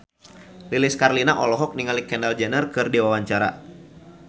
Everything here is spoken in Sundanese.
Lilis Karlina olohok ningali Kendall Jenner keur diwawancara